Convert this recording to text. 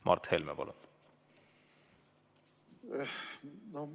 Mart Helme, palun!